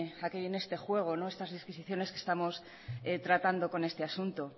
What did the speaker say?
a qué viene este juego estas disquisiciones que estamos tratando con este asunto